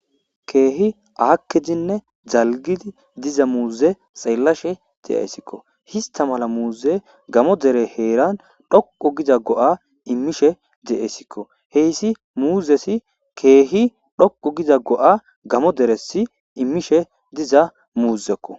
keehi aakkidinne zalgidi diza muuze xeellashe de'assikko ista mala muuze gamo dere heeran dhuqo giza go'a immishe de'esikko heyssi muuzesi keehi dhoqo giza go'a gamo deresi immishe diza muuzekko